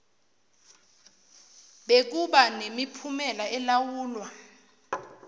bekuba nemiphumela elawulwa